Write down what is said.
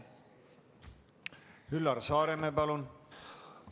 Üllar Saaremäe, palun!